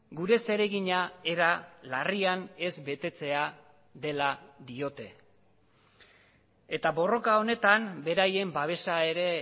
gure zeregina era larrian ez betetzea dela diote eta borroka honetan beraien babesa ere